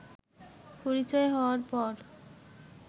পরিচয় হওয়ার পর